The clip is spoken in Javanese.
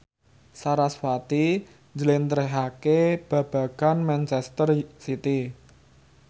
sarasvati njlentrehake babagan manchester city